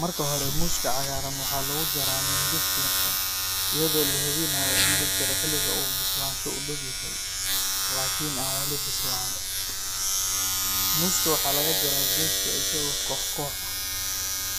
Marka hore, muuska cagaaran waxaa lagu jaraa mindi fiiqan iyadoo la hubinayo in la jaro xilliga uu bislaansho u dhaw yahay, laakiin aan weli bislaan. Muuska waxaa laga jaraa geedka isagoo koox koox ah.